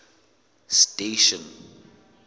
station